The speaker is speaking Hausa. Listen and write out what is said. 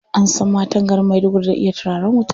An san matan garin Maiduguri da iya turaren wuta.